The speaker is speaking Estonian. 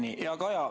Hea Kaja!